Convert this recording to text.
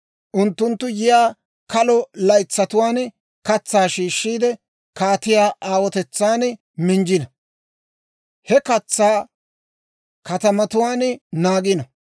Unttunttu yiyaa kalo laytsatuwaan katsaa shiishshiide, kaatiyaa aawotetsaan minjjino; he katsaa katamatuwaan naagino.